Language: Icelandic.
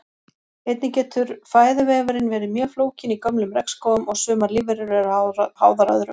Einnig getur fæðuvefurinn verið mjög flókinn í gömlum regnskógum og sumar lífverur eru háðar öðrum.